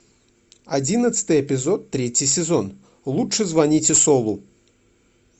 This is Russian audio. одиннадцатый эпизод третий сезон лучше звоните солу